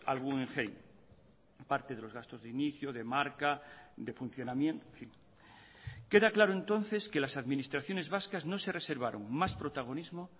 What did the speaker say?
al guggenheim parte de los gastos de inicio de marca de funcionamiento queda claro entonces que las administraciones vascas no se reservaron más protagonismo